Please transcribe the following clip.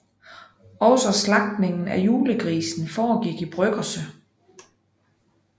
Også slagtningen af julegrisen foregik i bryggerset